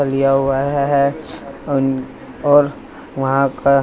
लिया हुआ है और वहां का--